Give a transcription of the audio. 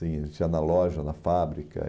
assim, Tinha na loja, na fábrica.